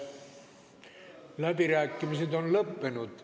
Läbirääkimised on lõppenud.